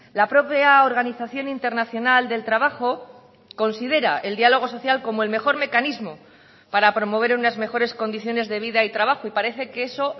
la propia organización internacional del trabajo considera el diálogo social como el mejor mecanismo para promover unas mejores condiciones de vida y trabajo y parece que eso